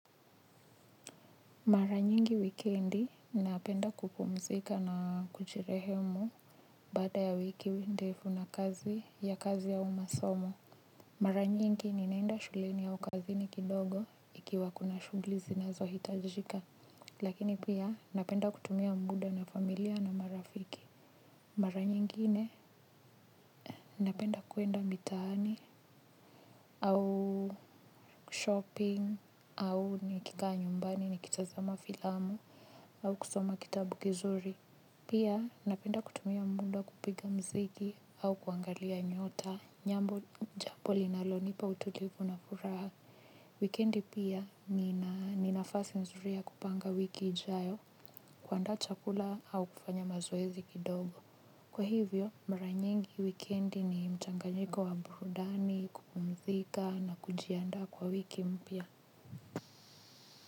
Mara nyingi wikendi, ninapenda kupumzika na kujirehemu baada ya wiki we ndefu na kazi ya kazi au masomo. Mara nyingi ninaenda shuleni au kazi ni kidogo ikiwa kuna shughli zinazohitajika, lakini pia napenda kutumia muda na familia na marafiki. Mara nyingine, napenda kwenda mitaani au shopping au nikikaa nyumbani nikitazama filamu au kusoma kitabu kizuri. Pia, napenda kutumia muda kupiga mziki au kuangalia nyota, nyambo japo linalonipa utulivu na furaha. Wikendi pia, nina, ni nafasi mzuri ya kupanga wiki ijayo, kuandaa chakula au kufanya mazoezi kidogo. Kwa hivyo, mara nyingi wikendi ni mchanganyiko wa burudani, kupumzika na kujiandaa kwa wiki mpya.